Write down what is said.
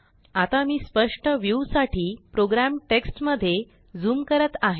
आता मी स्पष्ट व्ह्युसाठी प्रोग्रॅम टेक्ष्ट मध्ये झूम करत आहे